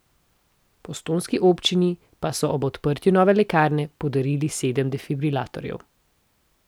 Postojnski občini pa so ob odprtju nove lekarne podarili sedem defibrilatorjev.